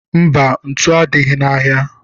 Mba, ntu adịghị n'ahịa.